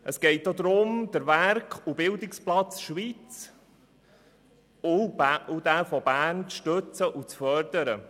Es geht auch darum, den Werk- und Bildungsplatz Schweiz und denjenigen von Bern zu stützen und zu fördern.